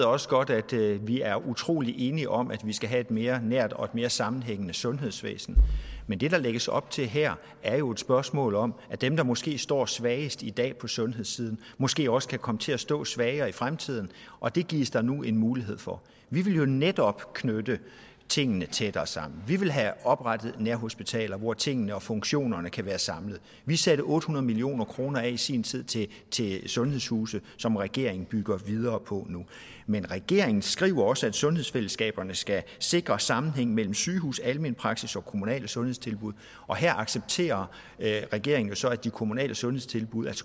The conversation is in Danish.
også godt at vi er utrolig enige om at vi skal have et mere nært og et mere sammenhængende sundhedsvæsen men det der lægges op til her er jo et spørgsmål om at dem der måske står svagest i dag på sundhedssiden måske også kan komme til at stå svagere i fremtiden og det gives der nu en mulighed for vi vil jo netop knytte tingene tættere sammen vi vil have oprettet nærhospitaler hvor tingene og funktionerne kan være samlet vi satte otte hundrede million kroner af i sin tid til til sundhedshuse som regeringen bygger videre på nu men regeringen skriver også at sundhedsfællesskaberne skal sikre sammenhæng mellem sygehus almen praksis og kommunale sundhedstilbud og her accepterer regeringen jo så at de kommunale sundhedstilbud